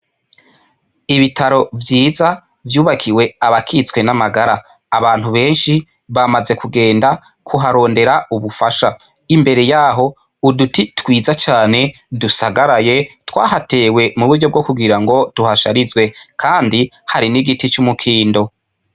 Ibitaro vyiza vyubakiwe abakitswe n'amagara abantu beshi bamaze kugenda kuharondera ubu fasha imbere yaho uduti twiza cane dusagaraye twahatewe mu buryo bwokugirango tuhasharizwe kandi hari n'igiti cu mukindo.